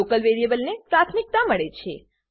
local વેરીએબલને પ્રાથમિકતા મળે છે